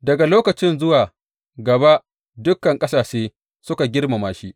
Daga lokacin zuwa gaba dukan ƙasashe suka girmama shi.